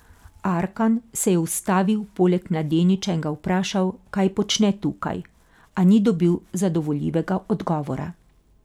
Arkan se je ustavil poleg mladeniča in ga vprašal, kaj počne tukaj, a ni dobil zadovoljivega odgovora.